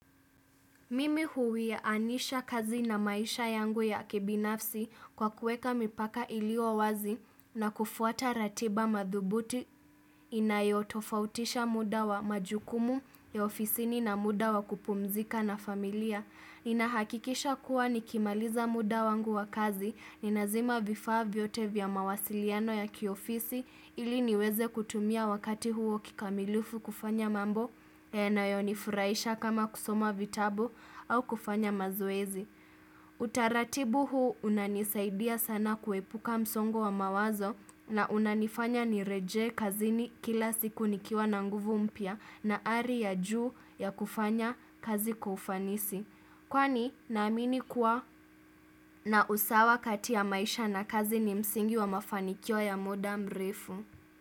Mimi huwianisha kazi na maisha yangu ya kibinafsi kwa kuweka mipaka iliyowazi na kufuata ratiba madhubuti inayotofautisha muda wa majukumu ya ofisini na muda wa kupumzika na familia. Ninahakikisha kuwa ni kimaliza muda wangu wa kazi ni nazima vifaa vyote vya mawasiliano ya kiofisi ili niweze kutumia wakati huo kikamilufu kufanya mambo yanayonifurahisha kama kusoma vitabu au kufanya mazoezi. Utaratibu huu unanisaidia sana kuepuka msongo wa mawazo na unanifanya ni rejee kazini kila siku nikiwa na nguvu mpya na hali ya juu ya kufanya kazi ufanisi. Kwani naamini kuwa na usawa kati ya maisha na kazi ni msingi wa mafanikyo ya muda mrefu.